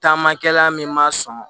Taamakɛla min m'a sɔn